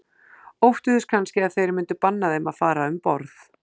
Óttuðust kannski að þeir myndu banna þeim að fara um borð.